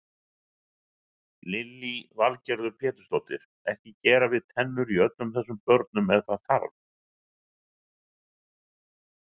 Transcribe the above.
Lillý Valgerður Pétursdóttir: Ekki gera við tennur í öllum þessum börnum ef það þarf?